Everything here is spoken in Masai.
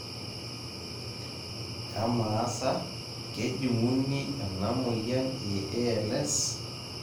kamaa sa kejung'uni ena moyian e ALS?